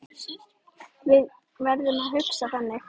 Við verðum að hugsa þannig.